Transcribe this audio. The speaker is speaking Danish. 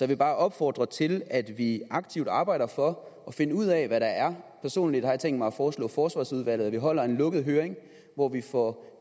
vil bare opfordre til at vi aktivt arbejder for at finde ud af hvad der er personligt har jeg tænkt mig at foreslå forsvarsudvalget at vi holder en lukket høring hvor vi får